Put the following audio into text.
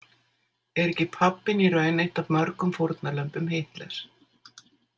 Er ekki pabbinn í raun eitt af mörgum fórnarlömbum Hitlers?